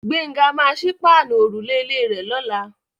Gbénga máa sí páànù òrùlé ilé rè lọ́la.